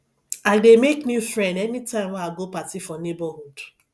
i dey make new friend anytime wey i go party for neborhood